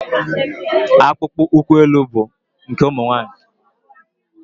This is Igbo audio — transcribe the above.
Akpụkpọ ụkwụ elu bụ nke ụmụ nwaanyị.